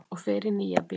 Og fer í Nýja bíó!